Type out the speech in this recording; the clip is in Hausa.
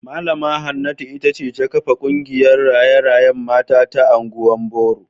Mallama Hanatu ita ce ta kafa kungiyar raye-rayen mata ta Agwan Boro